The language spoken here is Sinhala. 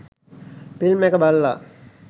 ෆිල්ම් එක බලලා